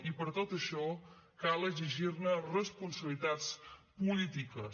i per tot això cal exigir ne responsabilitat polítiques